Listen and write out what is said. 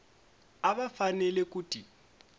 a va fanele ku ti